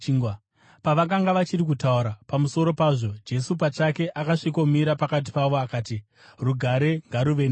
Pavakanga vachiri kutaura pamusoro pazvo, Jesu pachake akasvikomira pakati pavo akati, “Rugare ngaruve nemi.”